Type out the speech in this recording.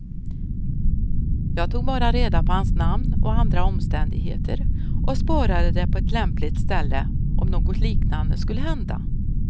Jag tog bara reda på hans namn och andra omständigheter och sparade det på ett lämpligt ställe, om något liknande skulle hända.